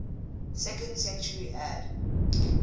second century ad